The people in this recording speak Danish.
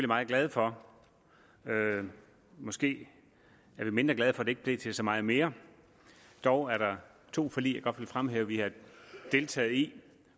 meget glade for måske er vi mindre glade for at det ikke blev til så meget mere dog er der to forlig jeg godt vil fremhæve at vi har deltaget i